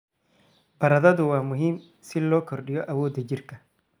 Baradhadu waa muhiim si loo kordhiyo awoodda jirka.